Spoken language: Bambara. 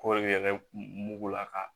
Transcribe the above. Kɔɔri yɛrɛ mugu la ka